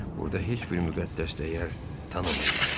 Burada heç bir müqəddəs dəyər tanımırlar.